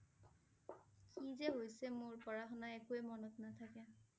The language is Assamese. কি যে হৈছে মোৰ। পঢ়া শুনা একোৱেই মনত নাথাকে ।